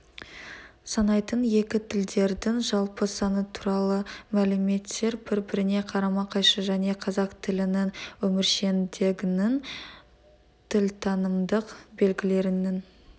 санайтын екі тілділердің жалпы саны туралы мәліметтер бір-біріне қарама-қайшы және қазақ тілінің өміршеңдегінің тілтанымдық белгілілерінің